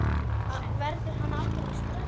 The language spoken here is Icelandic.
Verður hann aldrei stressaður?